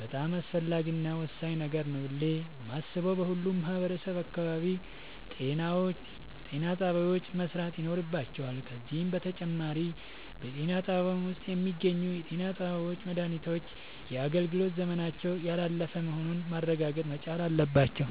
በጣም አስፈላጊ እና ወሳኝ ነገር ነው ብሌ የማሥበው በሁሉም ማህበረሠብ አካባቢ ጤናጣቢያዎች መሠራት ይኖርባቸዋል። ከዚህም በተጨማሪ በጤናጣቢያው ውስጥ የሚገኙ የጤናባለሙያዎች መድሃኒቶች የአገልግሎት ዘመናቸው ያላለፈ መሆኑን ማረጋገጥ መቻል አለባቸው።